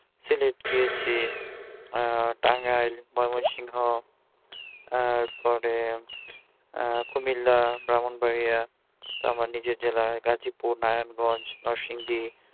সিলেট গিয়েছি আহ টাঙ্গাইল ময়মনসিংহ তারপরে আহ কুমিল্লা ব্রাহ্মণবাড়িয়া আমার নিজ জেলা গাজীপুর নারায়ণগঞ্জ নরসিংদী